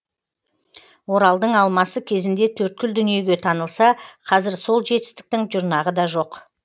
оралдың алмасы кезінде төрткүл дүниеге танылса қазір сол жетістіктің жұрнағы да жоқ